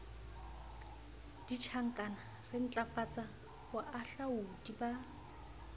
ditjhankana re ntlafatse boalaodi ba